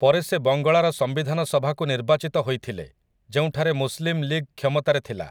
ପରେ ସେ ବଙ୍ଗଳାର ସମ୍ବିଧାନ ସଭାକୁ ନିର୍ବାଚିତ ହୋଇଥିଲେ, ଯେଉଁଠାରେ ମୁସ୍‌ଲିମ୍ ଲୀଗ୍ କ୍ଷମତାରେ ଥିଲା ।